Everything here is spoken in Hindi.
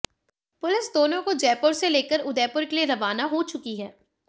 पुलिस दोनों को जयपुर से लेकर उदयपुर के लिए रवाना हो चुकी है